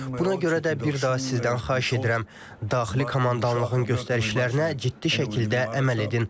Buna görə də bir daha sizdən xahiş edirəm, daxili komandanlığın göstərişlərinə ciddi şəkildə əməl edin.